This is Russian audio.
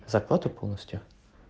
зарплату полностью